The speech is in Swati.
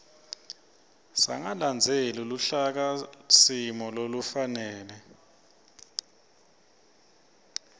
sangalandzeli luhlakasimo lolufanele